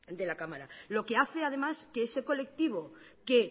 de la cámara lo que hace además que ese colectivo que